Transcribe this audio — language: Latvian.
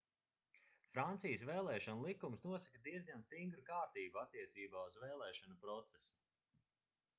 francijas vēlēšanu likums nosaka diezgan stingru kārtību attiecībā uz velēšanu procesu